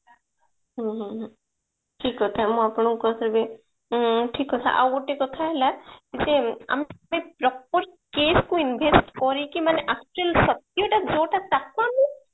ହୁଁ ହୁଁ ହୁଁ ଠିକ କଥା ମୁଁ ଆପଣଙ୍କୁ କହିବି ଉଁ ଠିକ କଥା ଆଉ ଗୋଟେ କଥା ହେଲା ଯେ ଆମେ କେତେ proper case କୁ invest କରିକି ମାନେ actual ସତ୍ୟ ଟା ଯୋଉଟା ତାକୁ ଆମେ